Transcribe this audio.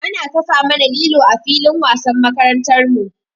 Ana kafa mana lilo a filin wasan makarantar mu.